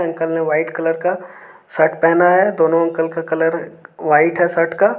uncle ने white colour का shirt पहना है दोनों अंकल का कलर व्हाइट है शर्ट का--